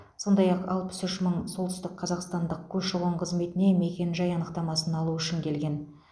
сондай ақ алпыс үш мың солтүстікқазақстандық көші қон қызметіне мекен жай анықтамасын алу үшін келген